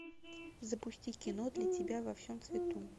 запусти кино для тебя во всем цвету